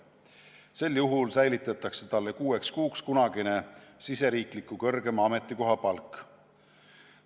Sel juhul säilitatakse talle kuueks kuuks kunagine riigisisese kõrgema ametikoha palk.